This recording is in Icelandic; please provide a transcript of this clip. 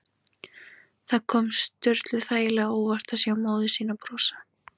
Það kom Sturlu þægilega á óvart að sjá móður sína brosa.